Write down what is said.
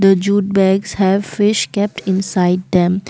jute bags have fish kept inside them.